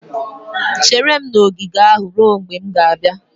Chere m na ogige ahụ ruo mgbe m ga-abịa!